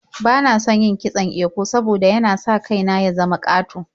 Bana son yin kitson eko saboda yana sa kai na ya zama ƙato.